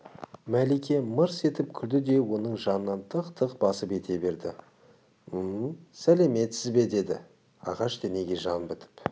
мәлике мырс етіп күлді де оның жанынан тық-тық басып ете берді мм сәлеметсіз бе деді ағаш денеге жан бітіп